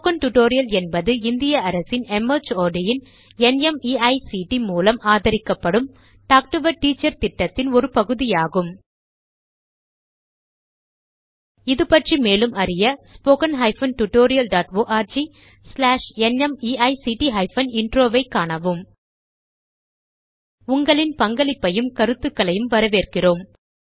spoken tutorial என்பது இந்திய அரசின் மார்ட் ன் நிமைக்ட் மூலம் ஆதரிக்கப்படும் talk to a teacher project ன் ஒரு பகுதி ஆகும் இது பற்றி மேலும் அறிய httpspoken tutorialorgNMEICT Intro ஐக் காணவும் உங்களின் பங்களிப்பையும் கருத்துகளையும் வரவேற்கிறோம்